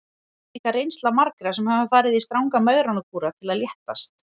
Þetta er líka reynsla margra sem hafa farið í stranga megrunarkúra til að léttast.